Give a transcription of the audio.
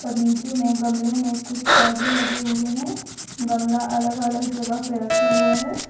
नीचे में गमले में कुछ पौधे लगे हुए हैं गमला अलग अलग जगह पे रखा हुआ है।